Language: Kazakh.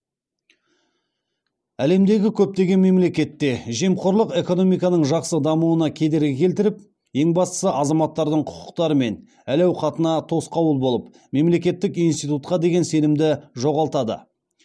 әлемдегі көптеген мемлекетте жемқорлық экономиканың жақсы дамуына кедергі келтіріп ең бастысы азаматтардың құқықтары мен әл ауқатына тосқауыл болып мемлекеттік институтқа деген сенімді жоғалтады